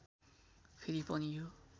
फेरि पनि यो